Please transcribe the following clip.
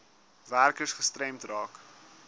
werkers gestremd raak